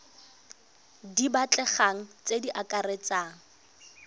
di batlegang tse di akaretsang